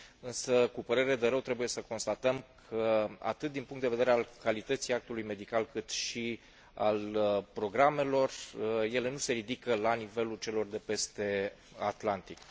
Însă, cu părere de rău trebuie să constatăm că, atât din punct de vedere al calității actului medical, cât și al programelor, ele nu se ridică la nivelul celor de peste Atlantic.